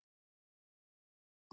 Þar tók ekki betra við